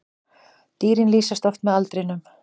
Dýrin lýsast oft með aldrinum.